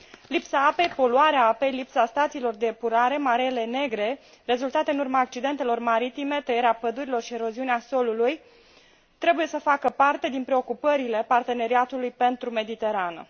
Lipsa apei, poluarea apei, lipsa stațiilor de epurare, mareele negre rezultate în urma accidentelor maritime, tăierea pădurilor și eroziunea solului trebuie să facă parte din preocupările parteneriatului pentru Mediterană.